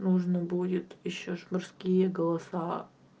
нужно будет ещё же мужские голоса